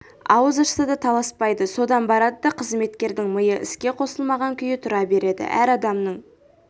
ауыз ашса да таласпайды содан барады да қызметкердің миы іске қосылмаған күйі тұра береді әр адамның